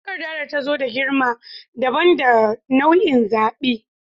Takarda ta zo da girma dabam da nau'in zaɓi.